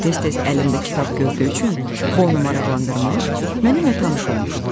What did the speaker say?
Tez-tez əlimdə kitab gördüyü üçün bu onu maraqlandırmış, mənimlə tanış olmuşdu.